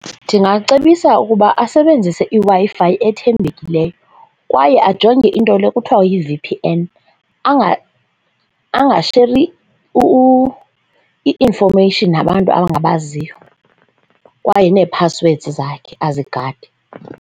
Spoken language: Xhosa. Ndingacebisa ukuba asebenzise iWi-Fi ethembekileyo kwaye ajonge into le kuthiwa yi-V_P_N angasheri i-infomeyishini nabantu abangabaziyo kwaye neephaswedi zakhe azigade.